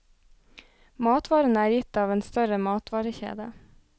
Matvarene er gitt av en større matvarekjede.